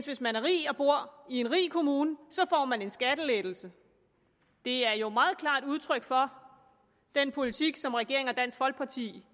hvis man er rig og bor i en rig kommune får en skattelettelse det er jo meget klart udtryk for den politik som regeringen og dansk folkeparti